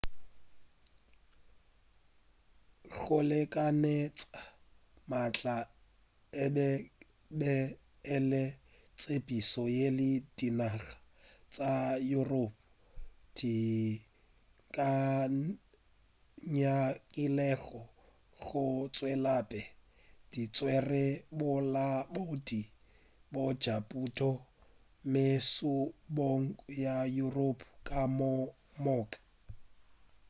go lekanetša maatla e be e le tshepedišo yeo dinaga tša europe di nyakilego go e tšwelapele di tswere bolaodi bja pušo mebušong ya yuropa ka moka